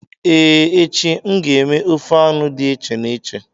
Ee, echi m ga-eme ofe anu did eche n'eche